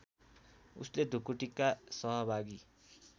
उसले ढुकुटीका सहभागी